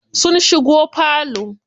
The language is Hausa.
Sun shigo falo.